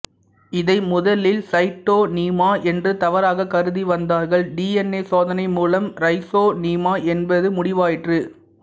இதை முதலில் சைட்டோனீமா என்று தவறாக கருதிவந்தார்கள் டி என் ஏ சோதனை மூலம் ரைசோனீமா என்பது முடிவாயிற்று